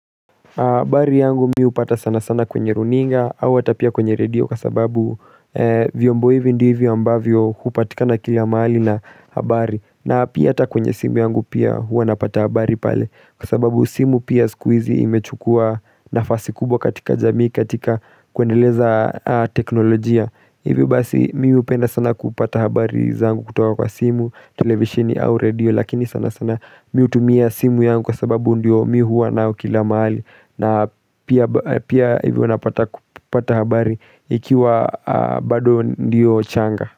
Habari yangu mimi hupata sana sana kwenye runinga au hata pia kwenye redio kwasababu vyombo hivi ndivyo ambavyo hupatika na kila mahali na habari na pia ata kwenye simu yangu pia hua napata habari pale Kwasababu simu pia sikuhizi imechukua nafasi kubwa katika jamii katika kuendeleza teknolojia Hivyo basi mimi hupenda sana kupata habari zangu kutoka kwa simu, televisheni au redio Lakini sana sana mimi hutumia simu yangu kwasababu ndiyo mimi hua nayo kila mahali na pia hivyo unapata habari ikiwa bado ndiyo changa.